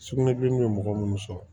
Sugunɛbilennin ye mɔgɔ minnu sɔrɔ